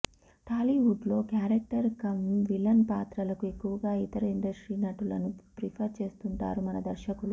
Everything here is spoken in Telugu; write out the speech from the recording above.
టాలీవుడ్లో క్యారెక్టర్ కమ్ విలన్ పాత్రలకు ఎక్కువగా ఇతర ఇండస్ట్రీ నటులను ప్రిఫర్ చేస్తుంటారు మన దర్శకులు